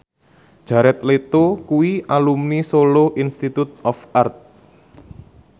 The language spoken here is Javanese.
Jared Leto kuwi alumni Solo Institute of Art